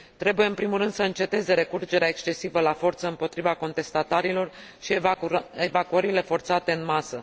Trebuie în primul rând să înceteze recurgerea excesivă la forță împotriva contestatarilor și evacuările forțate în masă.